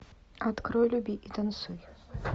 открой люби и танцуй